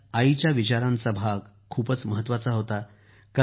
त्यात मम्मीच्या विचारांचा भाग खूपच महत्वाचा होता